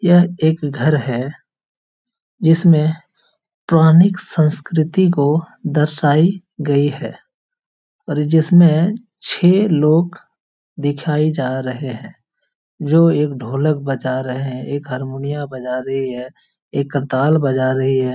यह एक घर है जिसमें पुरानिक संस्कृति को दर्शाई गई है और जिसमें छः लोग दिखाई जा रहे है जो एक ढोलक बजा रहे है एक हारमोनिया बजा रही है एक करताल बजा रही है।